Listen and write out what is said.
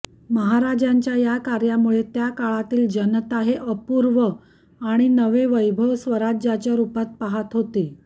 महाराजांच्या या कार्यामुळे त्या काळातील जनता हे अपूर्व आणि नवे वैभव स्वराज्याच्या रुपात पाहत होती